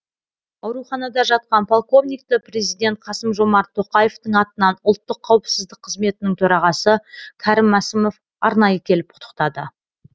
ауруханада жатқан полковникті президент қасым жомарт тоқаевтың атынан ұлттық қауіпсіздік қызметінің төрағасы кәрім мәсімов арнайы келіп құттықтады